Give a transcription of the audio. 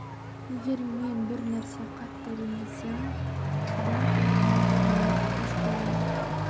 егер мен бір нәрсе қатты ренжісемін одан кейін мен өз-өзіме тез келемін